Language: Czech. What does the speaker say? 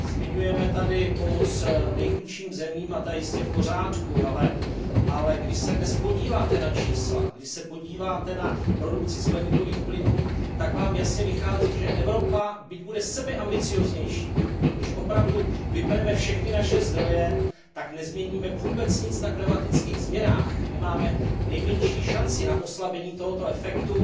Zmiňujeme tady pomoc nejchudším zemím a ta je jistě v pořádku, ale když se dnes podíváte na čísla, když se podíváte na produkci skleníkových plynů, tak vám jasně vychází, že Evropa, byť bude sebeambicióznější, když opravdu vypneme všechny naše zdroje, tak nezměníme vůbec nic na klimatických změnách, nemáme nejmenší šanci na oslabení tohoto efektu.